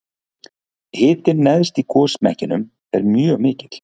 hitinn neðst í gosmekkinum er mjög mikill